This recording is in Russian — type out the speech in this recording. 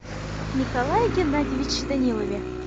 николае геннадьевиче данилове